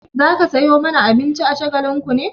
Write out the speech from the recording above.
Za ka sayo mana abinci a Shagalinku ne?